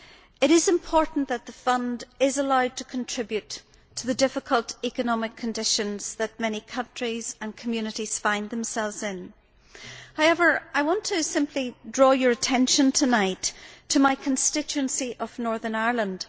It is important that the fund be allowed to contribute to the difficult economic conditions that many countries and communities find themselves in. However, I want simply to draw your attention tonight to my constituency of Northern Ireland.